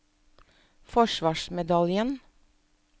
forsvarsmedaljen